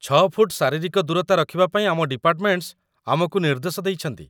ଛଅ ଫୁଟ ଶାରୀରିକ ଦୂରତା ରଖିବାପାଇଁ ଆମ ଡିପାର୍ଟମେଣ୍ଟସ୍ ଆମକୁ ନିର୍ଦ୍ଦେଶ ଦେଇଛନ୍ତି